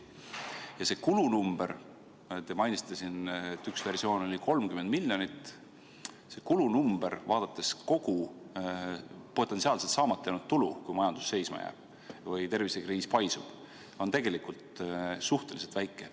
Ja see kulunumber – te mainisite siin, et üks versioon oli 30 miljonit –, vaadates kogu potentsiaalset saamata jäänud tulu, kui majandus seisma jääb või tervisekriis paisub, on tegelikult suhteliselt väike.